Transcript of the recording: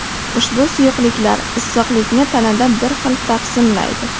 Ushbu suyuqliklar issiqlikni tanada bir xil taqsimlaydi.